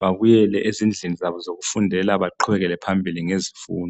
babuyele ezindlini zabo zokufundela baqhubekele phambili ngezifundo